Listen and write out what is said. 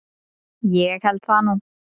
Ég held það nú.